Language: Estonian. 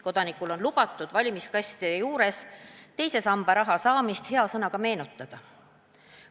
Kodanikul on lubatud valimiskastide juures teise samba raha saamist hea sõnaga meenutada.